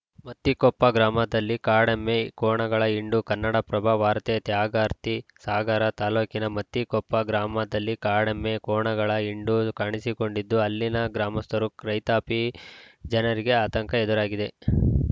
ಮತ್ತಿಕೊಪ್ಪ ಗ್ರಾಮದಲ್ಲಿ ಕಾಡೆಮ್ಮೆ ಕೋಣಗಳ ಹಿಂಡು ಕನ್ನಡಪ್ರಭ ವಾರ್ತೆ ತ್ಯಾಗರ್ತಿ ಸಾಗರ ತಾಲೂಕಿನ ಮತ್ತಿಕೊಪ್ಪ ಗ್ರಾಮದಲ್ಲಿ ಕಾಡೆಮ್ಮೆ ಕೋಣಗಳ ಹಿಂಡು ಕಾಣಿಸಿಕೊಂಡಿದ್ದು ಅಲ್ಲಿನ ಗ್ರಾಮಸ್ಥರು ಕ್ರೈ ತಾಪಿ ಜನರಿಗೆ ಆತಂಕ ಎದುರಾಗಿದೆ